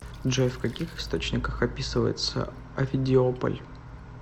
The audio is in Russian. джой в каких источниках описывается овидиополь